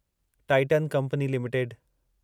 Titan Company limited